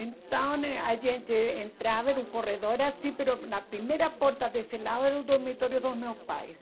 Então a gente entrava, era um corredor assim, mas a primeira porta desse lado era o dormitório dos meus pais.